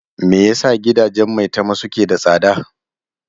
Me yasa gidajen Maitama suke da tsada?